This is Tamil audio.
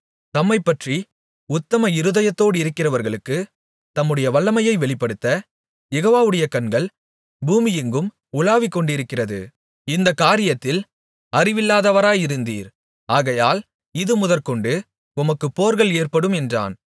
தம்மைப்பற்றி உத்தம இருதயத்தோடிருக்கிறவர்களுக்குத் தம்முடைய வல்லமையை வெளிப்படுத்த யெகோவாவுடைய கண்கள் பூமியெங்கும் உலாவிக்கொண்டிருக்கிறது இந்தக் காரியத்தில் அறிவில்லாதவராயிருந்தீர் ஆகையால் இதுமுதற்கொண்டு உமக்கு போர்கள் ஏற்படும் என்றான்